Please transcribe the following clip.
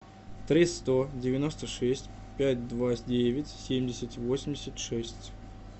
три сто девяносто шесть пять два девять семьдесят восемьдесят шесть